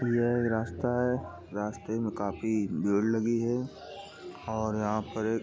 यह एक रास्ता है। रास्ते में काफी भीड़ लगी है और यहां पर एक --